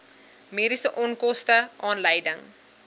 mediese onkoste aanleiding